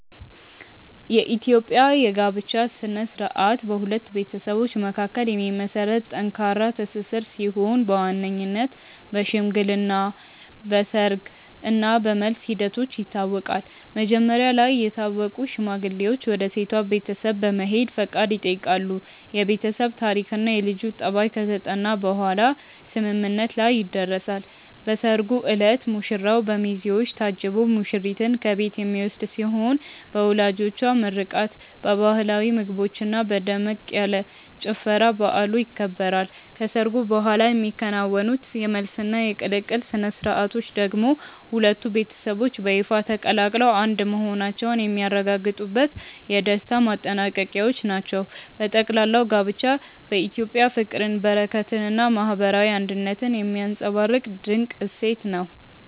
የኢትዮጵያ የጋብቻ ሥነ ሥርዓት በሁለት ቤተሰቦች መካከል የሚመሰረት ጠንካራ ትስስር ሲሆን በዋነኝነት በሽምግልና፣ በሰርግ እና በመልስ ሂደቶች ይታወቃል። መጀመሪያ ላይ የታወቁ ሽማግሌዎች ወደ ሴቷ ቤተሰብ በመሄድ ፈቃድ ይጠይቃሉ፤ የቤተሰብ ታሪክና የልጁ ጠባይ ከተጠና በኋላም ስምምነት ላይ ይደረሳል። በሰርጉ ዕለት ሙሽራው በሚዜዎች ታጅቦ ሙሽሪትን ከቤት የሚወስድ ሲሆን በወላጆች ምርቃት፣ በባህላዊ ምግቦችና በደመቅ ያለ ጭፈራ በዓሉ ይከበራል። ከሰርጉ በኋላ የሚከናወኑት የመልስና የቅልቅል ሥነ ሥርዓቶች ደግሞ ሁለቱ ቤተሰቦች በይፋ ተቀላቅለው አንድ መሆናቸውን የሚያረጋግጡበት የደስታ ማጠናቀቂያዎች ናቸው። በጠቅላላው ጋብቻ በኢትዮጵያ ፍቅርን፣ በረከትንና ማህበራዊ አንድነትን የሚያንፀባርቅ ድንቅ እሴት ነው።